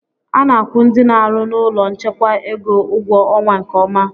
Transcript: A na-akwu ndị n'arụ n'ụlọ nchekwa ego ụgwọ ọnwa nke ọma.